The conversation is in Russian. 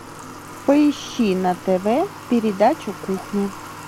поищи на тв передачу кухня